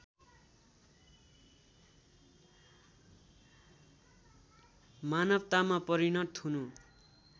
मानवतामा परिणत हुनु